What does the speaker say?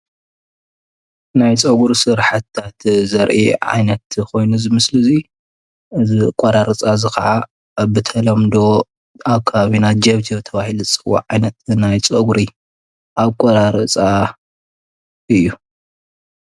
ናይ ፀጉሪ ስራሕትታት ዘርኢ ዓይነት ኮይኑ እዚ ምስሊ እዚ ዝኣቆራርፃ እዚ ከዓ ብተለምዶ ኣብ ከባቢና ጀብጀብ ተባሂሉ ዝፅዋዕ ዓይነት ናይ ፀጉሪ ኣቆራርፃ እዩ ።